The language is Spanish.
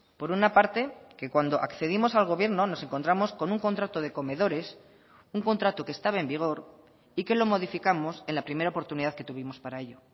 por una parte que cuando accedimos al gobierno nos encontramos con un contrato de comedores un contrato que estaba en vigor y que lo modificamos en la primera oportunidad que tuvimos para ello